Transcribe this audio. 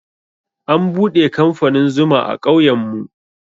An buɗe kamfanin zuma a ƙauyen mu.